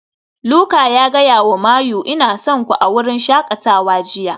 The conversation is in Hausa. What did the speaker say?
Luka ya gaya wa Mayu "Ina son ku" a wurin shakatawa jiya